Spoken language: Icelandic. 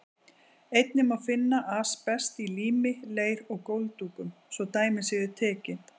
Einnig má finna asbest í lími, leir og gólfdúkum, svo dæmi séu tekin.